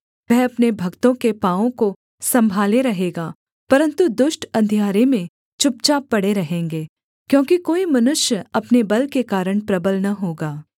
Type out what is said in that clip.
वह अपने भक्तों के पाँवों को सम्भाले रहेगा परन्तु दुष्ट अंधियारे में चुपचाप पड़े रहेंगे क्योंकि कोई मनुष्य अपने बल के कारण प्रबल न होगा